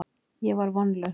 Ég var vonlaus.